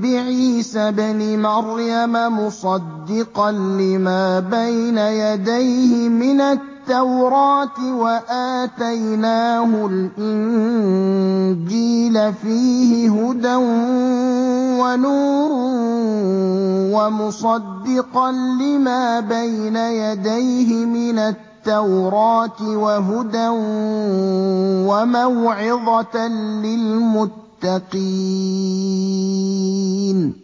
بِعِيسَى ابْنِ مَرْيَمَ مُصَدِّقًا لِّمَا بَيْنَ يَدَيْهِ مِنَ التَّوْرَاةِ ۖ وَآتَيْنَاهُ الْإِنجِيلَ فِيهِ هُدًى وَنُورٌ وَمُصَدِّقًا لِّمَا بَيْنَ يَدَيْهِ مِنَ التَّوْرَاةِ وَهُدًى وَمَوْعِظَةً لِّلْمُتَّقِينَ